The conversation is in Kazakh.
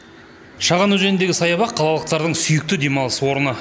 шаған өзеніндегі саябақ қалалықтардың сүйікті демалыс орны